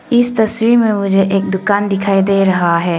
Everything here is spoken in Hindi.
इस तस्वीर में मुझे दुकान दिखाई दे रहा है।